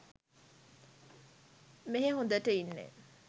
මෙහේ හොඳට ඉන්නෙ